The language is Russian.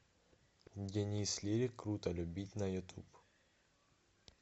денис лирик круто любить на ютуб